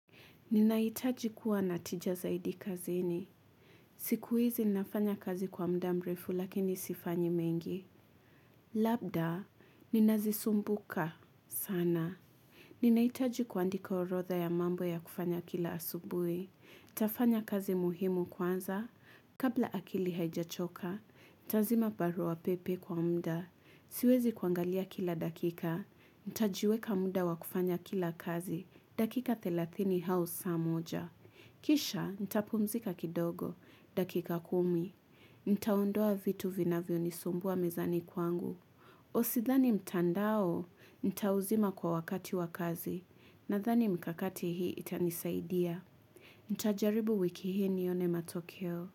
Ninahitaji kuwa natija zaidi kazini. Sikuizi ninafanya kazi kwa mda mrefu lakini sifanyi mengi. Labda, ninazisumbuka. Sana. Ninaitaji kuandika orotha ya mambo ya kufanya kila asubui. Tafanya kazi muhimu kwanza. Kabla akili haijachoka. Tazima barua pepe kwa mda. Siwezi kuangalia kila dakika, nitajiweka muda wakufanya kila kazi, dakika 30 hausa moja. Kisha, ntapumzika kidogo, dakika kumi. Nitaondoa vitu vinavyo ni sumbua mezani kwangu. Usithani mtandao, nitauzima kwa wakati wakazi, na thani mikakati hii itanisaidia. Nitajaribu wiki hii nione matokeo.